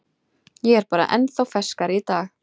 Ég er bara ennþá ferskari í dag.